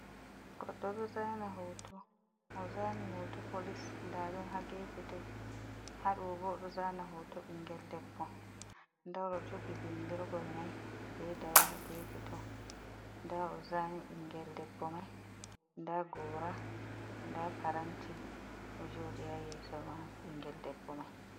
Godɗo ɗo zana hoto ,ozani hoto polis, nda ɗum ha gefe to , haɗo boo ɗoo zani hoto ɓinngel debbo, ɲda jogi bindirgol mai , be dawa hagefe to, da ozani binngel debbo mai, nda gora, nda paranti ɗo joɗi ha yeso mai binngel debbo mai.